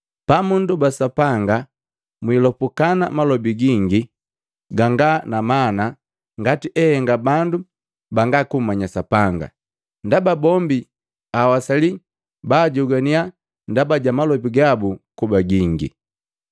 “Pamundoba Sapanga, mwiposukana malobi gingi ganga na mana ngati ehenga bandu banga kummanya Sapanga. Ndaba bombi awasali baajogwaniya ndaba ja malobi gabu kuba gingi.